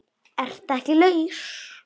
Ertu ekki laus?